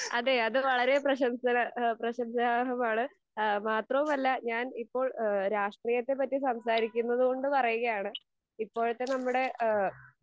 അതെ അത് വളരേ പ്രശംസതപ്രശംസാർഹമാണ്. അഹ് മാത്രവുമല്ല, ഞാൻ ഇപ്പോൾ ഈഹ് രാഷ്ട്രീയത്തെ പറ്റി സംസാരിക്കുന്നതുകൊണ്ട് പറയുകയാണ് ഇപ്പോഴത്തെ നമ്മുടെ ഈഹ്